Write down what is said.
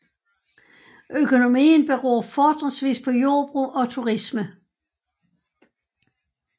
Økonomien beror fortrinsvis på jordbrug og turisme